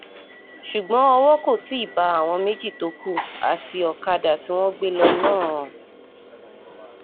ṣùgbọ́n owó kò tí ì bá àwọn méjì tó kù àti ọ̀kadà tí wọ́n gbé lọ náà